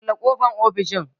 Kulle ƙofan ofishin!